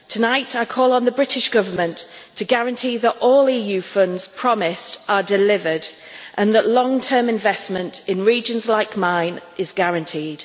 Tonight I call on the British Government to guarantee that all EU funds promised are delivered and that long term investment in regions like mine is guaranteed.